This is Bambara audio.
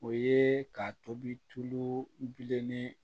O ye ka tobi tulu bilennin